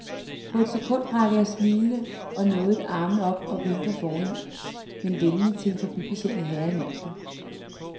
På et sekund rækker jeg smilende og nådigt armen op og vinker fornemt, men venligt til en forbipasserende herre i mængden.